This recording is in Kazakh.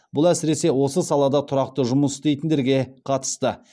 бұл әсіресе осы салада тұрақты жұмыс істейтіндерге қатысты